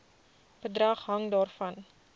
bedrag hang daarvan